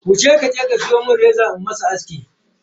Wuce kije ki siyo mun reza in mishi aski.